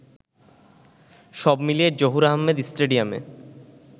সব মিলিয়ে জহুর আহমেদ স্টেডিয়ামে